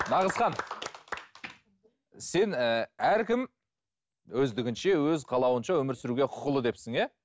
нағызхан сен ііі әркім өздігінше өз қалауынша өмір сүруге құқылы депсің иә